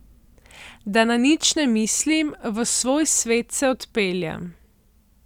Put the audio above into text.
Da na nič ne mislim, v svoj svet se odpeljem.